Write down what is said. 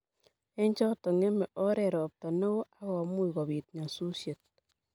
eng choto, ngeme oret ropta neo agomuuch kobiit nyasusiet